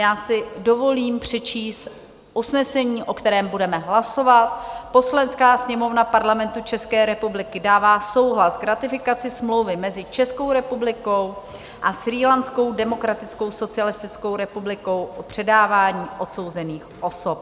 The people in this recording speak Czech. Já si dovolím přečíst usnesení, o kterém budeme hlasovat: "Poslanecká sněmovna Parlamentu České republiky dává souhlas k ratifikaci Smlouvy mezi Českou republikou a Srílanskou demokratickou socialistickou republikou o předávání odsouzených osob."